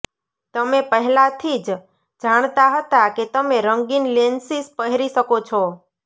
તમે પહેલાથી જ જાણતા હતા કે તમે રંગીન લેન્સીસ પહેરી શકો છો